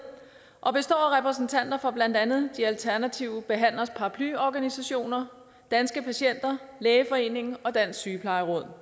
og består af repræsentanter for blandt andet de alternative behandleres paraplyorganisationer danske patienter lægeforeningen og dansk sygeplejeråd